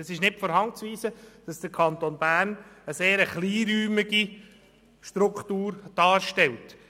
Es ist nicht von der Hand zu weisen, dass der Kanton Bern eine sehr kleinräumige Struktur aufweist.